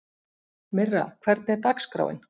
Myrra, hvernig er dagskráin?